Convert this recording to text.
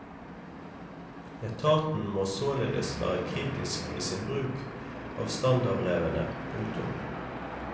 Etaten må således være kritisk i sin bruk av standardbrevene. punktum